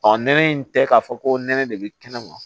nɛnɛ in tɛ k'a fɔ ko nɛnɛ de bɛ kɛnɛma